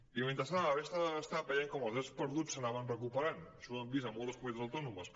i mentrestant a la resta de l’estat vèiem com els drets perduts s’anaven recuperant això ho hem vist en moltes comunitats autònomes